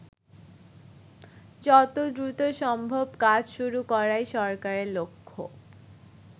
যত দ্রুত সম্ভব কাজ শুরু করাই সরকারের লক্ষ্য।